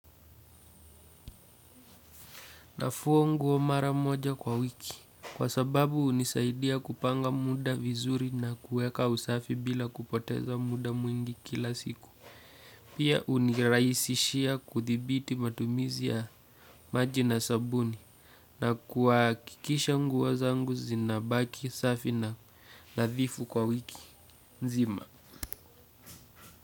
Nafua nguo mara moja kwa wiki kwa sababu hunisaidia kupanga muda vizuri na kueka usafi bila kupoteza muda mwingi kila siku. Pia unirahisishia kuthibiti matumizi ya maji na sabuni na kuhakikisha nguo zangu zinabaki, safi na nathifu kwa wiki. Nzima.